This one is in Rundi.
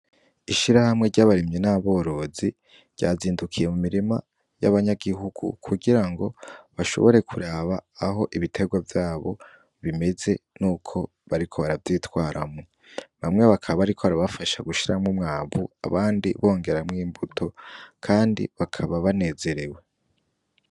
Ishira hamwe ry'abarimyi n'aborozi ryazindukiye mu mirima y'abanyagihugu kugira ngo bashobore kuraba aho ibiterwa vyabo bimeze ni uko bariko baravyitwaramwo bamwe bakaba, ariko arabafasha gushiramwo umwavu abandi bongeramwo imbuto, kandi bakaba banezerewe.